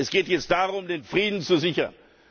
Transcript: Es geht jetzt darum, den Frieden zu sichern.